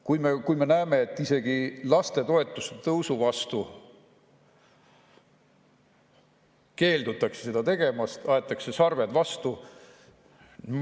Kui me näeme, et isegi lastetoetuse tõusu vastu, keeldutakse seda tegemast, aetakse sarved vastu.